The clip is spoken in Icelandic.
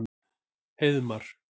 Heiðmar